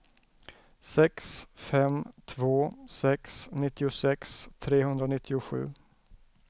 sex fem två sex nittiosex trehundranittiosju